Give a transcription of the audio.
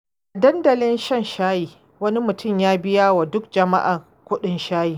A dandalin shan shayi, wani mutum ya biya wa duk jama’a kuɗin shayi.